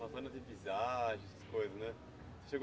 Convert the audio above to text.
coisas, né? Você chegou